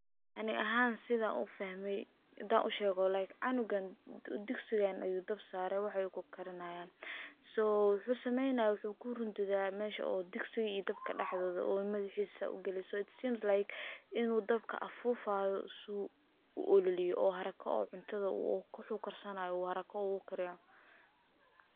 Ani ahan san ufahme hadan ushego like canugan digsigan ayuu dab sarey, uu karinayaa, so muxu sameynaya, uu rundudaah meshaa oo digsiga iyo dawolka daxdodha uu madaxisa sas u galiye, it seems like in uu dabka afufayo, oo haraka cuntadha u karsanayo, si uu haraka u kario.